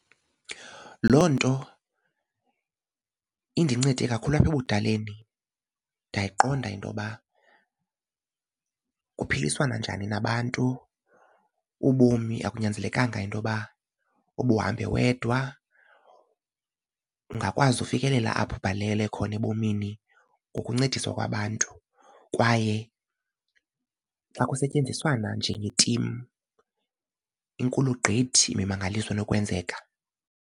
Loo nto indincede kakhulu apha ebudaleni ndayiqonda intoba kuphiliswana njani nabantu. Ubomi akunyanzelekanga into yoba ubuhambe wedwa. Ungakwazi ukufikelela apho ubhalele khona ebomini ngokuncediswa kwabantu kwaye xa kusetyenziswana njengetimu inkulu gqithi imimangaliso enokwenzeka.